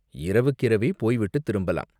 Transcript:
இரவுக்கிரவே போய்விட்டுத் திரும்பலாம்.